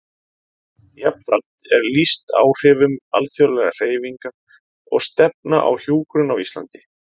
Jafnframt er lýst áhrifum alþjóðlegra hreyfinga og stefna á hjúkrun á Íslandi.